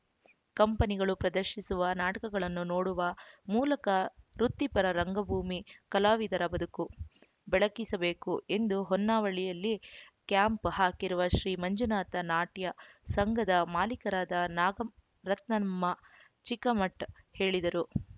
ಕಂಪನಿಗಳು ಪ್ರದರ್ಶಿಸುವ ನಾಟಕಗಳನ್ನು ನೋಡುವ ಮೂಲಕ ವೃತ್ತಿಪರ ರಂಗಭೂಮಿ ಕಲಾವಿದರ ಬದುಕು ಬೆಳಗಿಸಬೇಕು ಎಂದು ಹೊನ್ನಾವಳಿಯಲ್ಲಿ ಕ್ಯಾಂಪ್‌ ಹಾಕಿರುವ ಶ್ರೀ ಮಂಜುನಾಥ ನಾಟ್ಯ ಸಂಘದ ಮಾಲೀಕರಾದ ನಾಗರತ್ನಮ್ಮ ಚಿಕ್ಕಮಠ ಹೇಳಿದರು